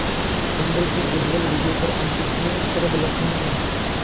चंद्र की उज्ज्वल विजय पर अंतरिक्ष में शरदलक्ष्मी ने